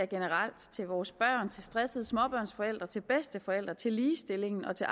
generelt til vores børn til stressede småbørnsforældre til bedsteforældre til ligestillingen og til